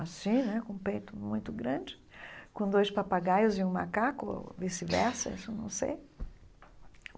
assim né, com peito muito grande, com dois papagaios e um macaco, ou vice-versa, isso eu não sei.